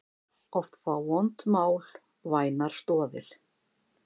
Oft fá vond mál vænar stoðir.